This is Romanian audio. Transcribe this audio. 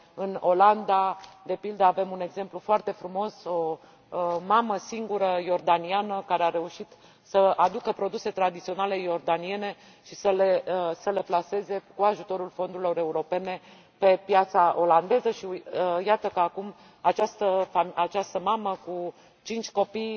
În Olanda, de pildă, avem un exemplu foarte frumos o mamă singură, iordaniană, care a reușit să aducă produse tradiționale iordaniene și să le plaseze cu ajutorul fondurilor europene pe piața olandeză și iată că, acum, această mamă cu cinci copii,